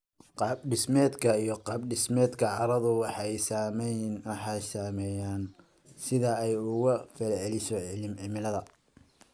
Qaab-dhismeedka iyo qaab-dhismeedka carradu waxay saameeyaan sida ay uga falceliso cimilada.